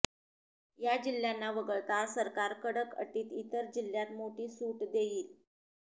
या जिल्ह्यांना वगळता सरकार कडक अटीत इतर जिल्ह्यात मोठी सूट देईल